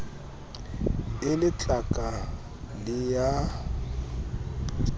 e le tlaka le a